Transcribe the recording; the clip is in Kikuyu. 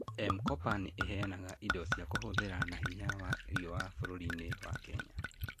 M-Kopa nĩ ĩheanaga indo cia kũhũthĩra na hinya wa riũa bũrũri-inĩ wa Kenya.